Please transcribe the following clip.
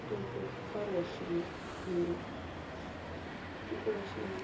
только к хорошему а не ну короче да